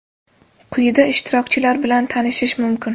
Quyida ishtirokchilar bilan tanishish mumkin.